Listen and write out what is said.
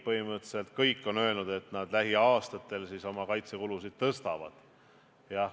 Põhimõtteliselt kõik Euroopa riigid on öelnud, et lähiaastatel nad oma kaitsekulutusi suurendavad.